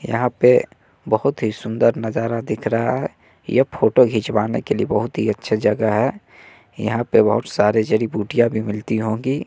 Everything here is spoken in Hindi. यहां पे बहोत ही सुंदर नजारा दिख रहा है ये फोटो हिचवाने के लिए बहुत ही अच्छा जगह है यहां पे बहुत सारे जड़ी बूटियां भी मिलती होंगी।